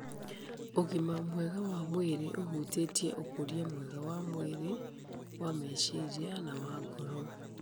Ũgima mwega wa mwĩrĩ ũhutĩtie ũkũria mwega wa mwĩrĩ, wa meciria, na wa ngoro